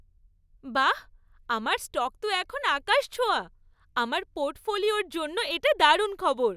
বাঃ, আমার স্টক তো এখন আকাশ ছোঁয়া! আমার পোর্টফোলিওর জন্য এটা দারুণ খবর।